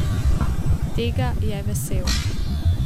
Tega je vesel.